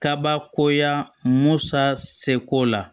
Kabakoya musa seko la